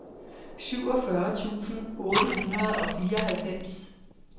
syvogfyrre tusind otte hundrede og fireoghalvfems